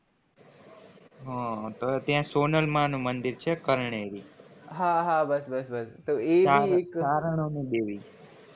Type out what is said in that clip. હા ત્યાં સોનલમાં નું મંદિર છે જે એક